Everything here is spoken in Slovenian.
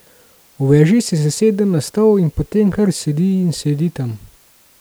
V veži se sesede na stol in potem kar sedi in sedi tam.